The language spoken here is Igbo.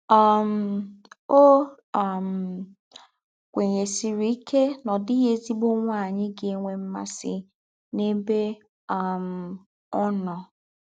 um Ó um kwènýèsìrì íké nà ọ́ dị́ghị̣ èzí̄gbọ̀ nwạ́nyị̀ gà-ènwẹ̀ màsì n’êbè um ọ́ nọ̀.